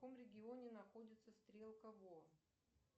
в каком регионе находится стрелка во